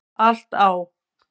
Allt á